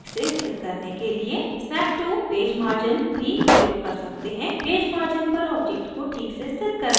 snap to page margin भी प्रयोग कर सकते हैंपेज margin पर object को ठीक से स्थित करने के लिए